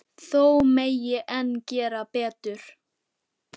Þó megi enn gera betur.